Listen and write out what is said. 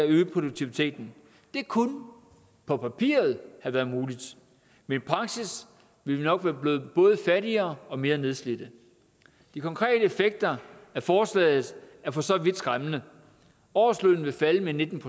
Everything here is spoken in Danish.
øge produktiviteten det kunne på papiret have været muligt men i praksis ville vi nok være blevet både fattigere og mere nedslidte de konkrete effekter af forslaget er for så vidt skræmmende årslønnen vil falde med nitten